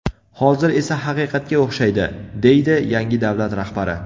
Hozir esa haqiqatga o‘xshaydi”, deydi yangi davlat rahbari.